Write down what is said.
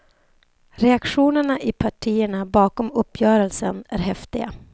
Reaktionerna i partierna bakom uppgörelsen är häftiga.